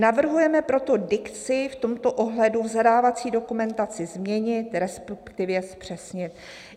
Navrhujeme proto dikci v tomto ohledu v zadávací dokumentaci změnit, respektive zpřesnit."